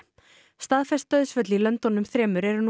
staðfest dauðsföll í löndunum þremur eru nú